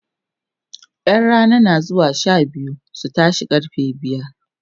ƴan Rana na zuwa Sha biyu su tashe karfe biyar